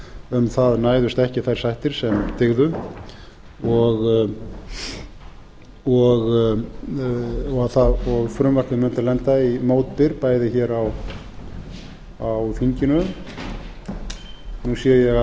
um það næðust ekki þær sættir sem dygðu og frumvarpið mundi lenda í mótbyr bæði hér á þinginu nú sé ég að